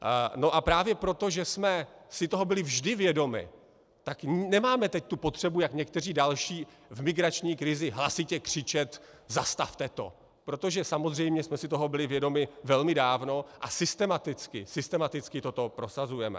No a právě proto, že jsme si toho byli vždy vědomi, tak nemáme teď tu potřebu jako někteří další v migrační krizi hlasitě křičet zastavte to!, protože samozřejmě jsme si toho byli vědomi velmi dávno a systematicky, systematicky toto prosazujeme.